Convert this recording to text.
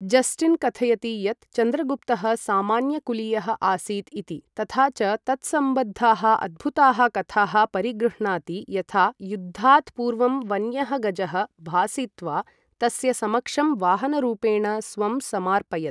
Justin कथयति यत् चन्द्रगुप्तः सामान्य कुलीयः आसीत् इति, तथा च तत्सम्बद्धाः अद्भुताः कथाः परिगृह्णाति, यथा युद्धात् पूर्वं वन्यः गजः भासित्वा तस्य समक्षं वाहनरूपेण स्वं समार्पयत्।